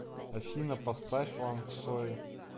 афина поставь ланской